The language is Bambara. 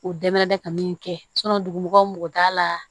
O dɛmɛrɛ bɛ ka min kɛ dugu t'a la